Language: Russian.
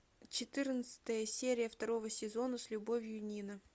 четырнадцатая серия второго сезона с любовью нина